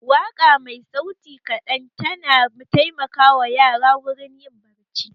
Waƙa mai sauti kaɗan ta na taimaka wa yara wurin yin barci